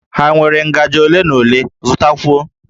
Ha nwere ngajị ole na ole, zụtakwuo!